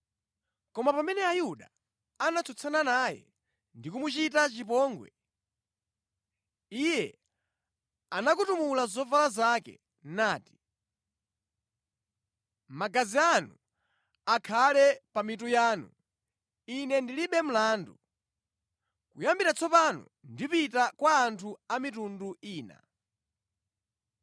Koma pamene Ayuda anatsutsana naye ndi kumuchita chipongwe, iye anakutumula zovala zake nati, “Magazi anu akhale pamitu yanu! Ine ndilibe mlandu. Kuyambira tsopano ndipita kwa anthu a mitundu ina.”